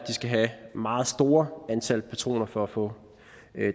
skal have et meget stort antal patroner for at få